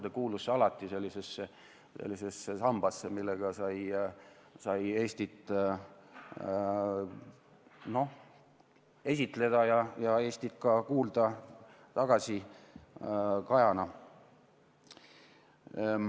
See kuulus alati sellesse sambasse, millega sai Eestit esitleda, ja Eestist sai ka kajana tagasi kuulda.